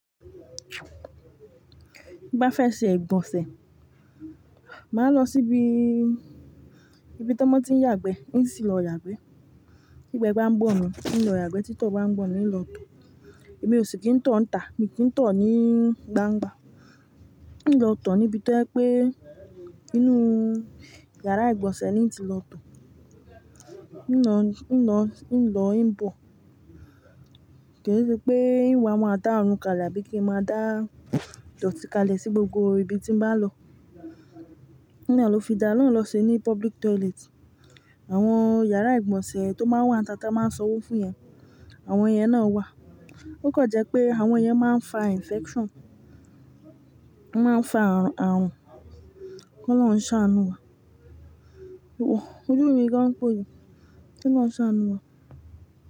Bí bá fẹ́ ṣe igbọnsẹ̀, màá lọ síbi, ibi tó mọ tí ń yàgbẹ́, n ó sì lọ yàgbẹ́. tÍgbẹ́ gba ń gbọ̀n mi, n lọ yàgbẹ́. Tí tó gba ń gbọ̀n mi, n lọ tọ̀. Èmi ò sì kí ń tọ̀ níta, mi kí ń tọ̀ ní gbangba. N lọ tọ̀ níbi tó ẹ pé inú yàrá ìgbọ̀nsẹ̀ ni n ti lọ tọ̀. N lọ, n lọ, n lọ, n bọ̀. Kì í ṣe pé ìwà máa dá run kalẹ̀ bí i kí è máa dá ìdọ̀tí kalẹ̀ sí gbogbo ibi tí n bá lọ. Nìyẹn ló fi dá lọ́hun lọ ṣe ní public toilet. Àwọn yàrá ìgbọ̀nsẹ̀ tó máa ń wà ní ata ta máa ń sanwó fún ìyẹn, àwọn ẹ̀yẹn náà wà. Ó kàn jẹ́ pé àwọn kyẹn máa ń fa infection. Wọ́n máa ń fa àrùn. Kí olọ́run ń ṣánù wa. Iwọ, ojú mi gan póòjù. Kí olọ́run ń ṣánù wa?